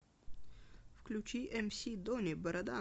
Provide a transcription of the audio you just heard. включи эмси дони борода